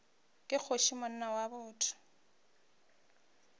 ke kgoši monna wa botho